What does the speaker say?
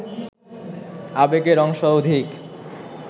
আবেগের অংশ অধিক